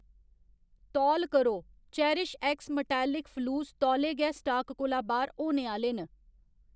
तौल करो, चेरिशएक्स मटैलक फलूस तौले गै स्टाक कोला बाह्‌र होने आह्ले न